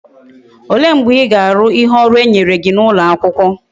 Ole mgbe íga Aru ihe oru enyere gi na ulo akwukwo?